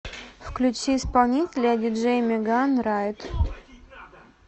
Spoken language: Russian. включи исполнителя диджей меган райт